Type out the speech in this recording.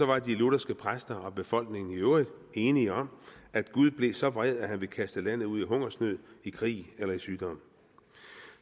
var de lutherske præster og befolkningen i øvrigt enige om at gud blev så vred at han ville kaste landet ud i hungersnød i krig eller i sygdom